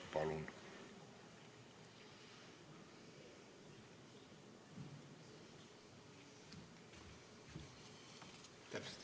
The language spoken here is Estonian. Palun!